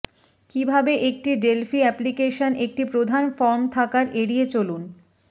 কিভাবে একটি Delphi application একটি প্রধান ফর্ম থাকার এড়িয়ে চলুন